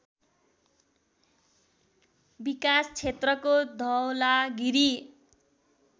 विकास क्षेत्रको धवलागिरी